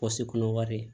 Kɔsi kɔnɔ wari ye